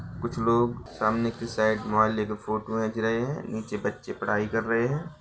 कुछ लोग सामने के साइड मोबाइल लेके फोटो खींच रहे हैं नीचे बच्चे पढाई कर रहे हैं।